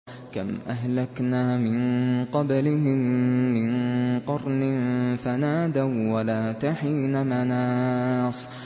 كَمْ أَهْلَكْنَا مِن قَبْلِهِم مِّن قَرْنٍ فَنَادَوا وَّلَاتَ حِينَ مَنَاصٍ